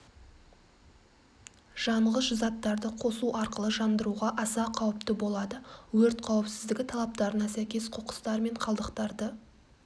жанғыш заттарды қосу арқылы жандыруға аса қауіпті болады өрт қауіпсіздігі талаптарына сәйкес қоқыстар мен қалдықтарды